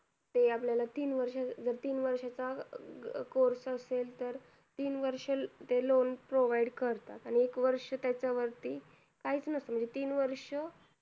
ते आपल्याला तीन वर्ष तीन वर्षच course असेल तर तीन वर्ष ते loan provide करतात आणि एक वर्ष त्याच्या वरती काही च नसत तीन वर्ष